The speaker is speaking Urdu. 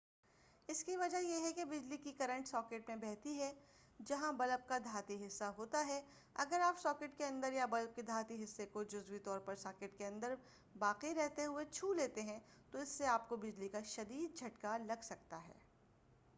اس کی وجہ یہ ہے کہ بجلی کی کرنٹ ساکٹ میں بہتی ہے جہاں بلب کا دھاتی حصہ ہوتا ہے اگر آپ ساکٹ کے اندر یا بلب کے دھاتی حصے کو جزوی طورپر ساکٹ کے اندر باقی رہتے ہوئے ہی چھولیتے ہیں تو اس سے آپ کو بجلی کا شدید جھٹکا لگ سکتا ہے